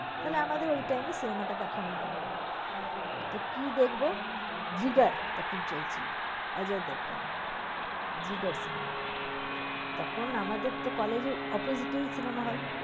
তাইলে আমাদের ওই time এ cinema দেখা হয়ে যাবে। তো কি দেখব? জিগার তখন চলছিল। অজয় দেবগণ এর। জিগার cinema । তখন আমাদের তো college এর opposite ই cinema hall